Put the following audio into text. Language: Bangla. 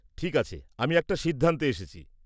ঠিক আছে, আমি একটা সিদ্ধান্তে এসছি।